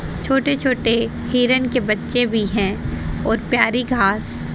छोटे छोटे हिरण के बच्चे भी हैं और प्यारी घास--